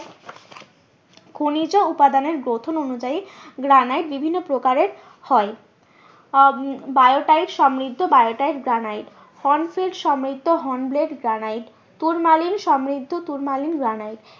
খনিজ উপাদানের গ্রথন অনুযায়ী গ্রানাইট বিভিন্ন প্রকারের হয় আহ বায়োটাইড সমৃদ্ধ বায়োটাইড গ্রানাইট সমৃদ্ধ হোনব্লেড গ্রানাইট, তুর্মালিন সমৃদ্ধ তুর্মালিন গ্রানাইট